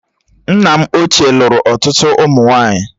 Nna m ochie lụrụ ọtụtụ ụmụ nwaanyị